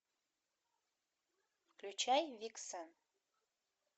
включай виксен